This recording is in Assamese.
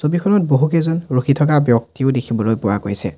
ছবিখনত বহুকেইজন ৰখি থাকা ব্যক্তিও দেখিবলৈ পোৱা গৈছে।